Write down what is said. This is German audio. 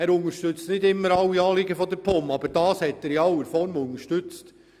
Er unterstützt nicht immer alle Anliegen der POM, aber hier hat er uns in aller Form unterstützt.